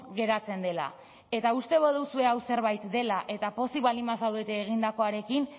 geratzen dela eta uste baduzue hau zerbait dela eta pozik baldin bazaudete egindakoarekin